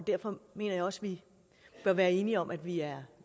derfor mener jeg også vi bør være enige om at vi er